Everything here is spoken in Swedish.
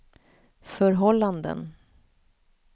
förhållanden